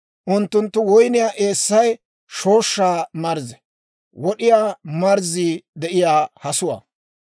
Unttunttu woyniyaa eessay shooshshaa marzze; wod'iyaa marzzii de'iyaa hasuwaa.